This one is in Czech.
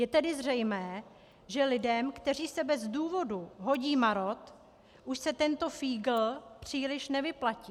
Je tedy zřejmé, že lidem, kteří se bez důvodu hodí marod, už se tento fígl příliš nevyplatí.